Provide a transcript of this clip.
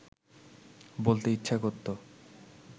বলতে ইচ্ছা করত